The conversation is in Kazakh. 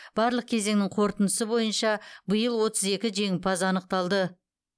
барлық кезеңнің қорытындысы бойынша биыл отыз екі жеңімпаз анықталды